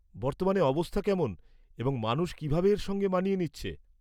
বর্তমানে অবস্থা কেমন এবং মানুষ কিভাবে এর সঙ্গে মানিয়ে নিচ্ছে।